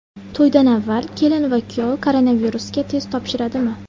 To‘ydan avval kelin va kuyov koronavirusga test topshiradimi?